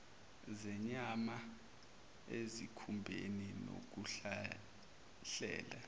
zenyama ezikhumbeni nokuhlahlela